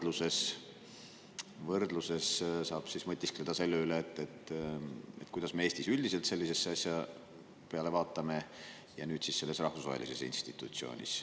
Noh, et siis lihtsalt nagu võrdluses saab mõtiskleda selle üle, kuidas me Eestis üldiselt sellise asja peale vaatame ja nüüd siis selles rahvusvahelises institutsioonis.